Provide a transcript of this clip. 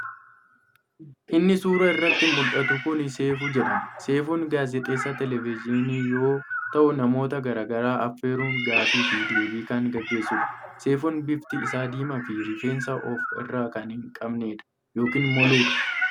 Inni suuraa irratti muldhatu kun seefuu jedhama. Seefuun gaazexeessaa televejiinii yoo ta'u namoota garaa garaa affeeruun gaafii fi deebii kan geggeessuudha. Seefuun bifti isaa diimaa fi rifeensa of irraa kan hin qabneedha yookiin moluudha.